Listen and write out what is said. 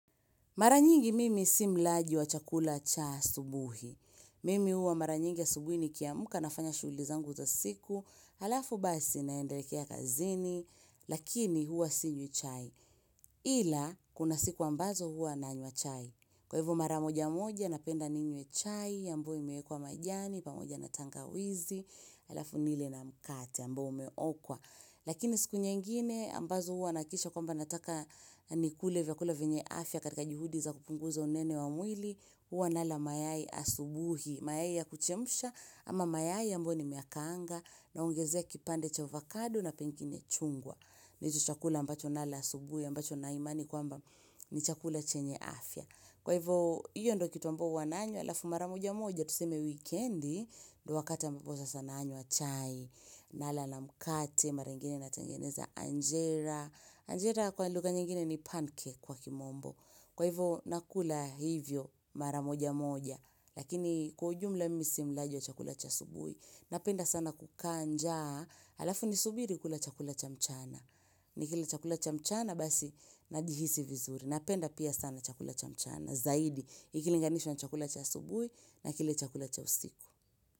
Mara nyingi mimi si mlaji wa chakula cha asubuhi. Mimi huwa mara nyingi asubuhi nikiamka nafanya shughuli zangu za siku. Halafu basi naelekea kazini. Lakini huwa sinywi chai. Ila, kuna siku ambazo huwa nanywa chai. Kwa hivyo mara moja moja, napenda ninywe chai, ambayo imewekwa majani, pamoja na tangawizi. Halafu nile na mkate, ambao umeokwa. Lakini siku nyingine, ambazo huwa nahakikisha kwamba nataka nikule vyakula vyenye afya katika juhudi za kupunguza unene wa mwili, huwa nala mayai asubuhi, mayai ya kuchemsha ama mayai ambayo nimeyakaanga, naongezea kipande cha avocado na pengine chungwa. Ndicho chakula ambacho nala asubuhi ambacho nina imani kwamba ni chakula chenye afya kwa hivyo hiyo ndio kitu ambayo huwa nanywa alafu mara moja moja tuseme wikendi, ndio wakati ambapo sasa nanywa chai nala na mkate mara ingine natengeneza anjera, anjera kwa lugha nyingine ni pancake kwa kimombo. Kwa hivyo nakula hivyo mara moja moja, lakini kwa ujumla mimi si mlaji wa chakula cha asubuhi, napenda sana kukaa njaa, alafu nisubiri kula chakula cha mchana, nikila chakula cha mchana basi najihisi vizuri, napenda pia sana chakula cha mchana, zaidi, ikilinganishwa na chakula cha asubuhi na kile chakula cha usiku.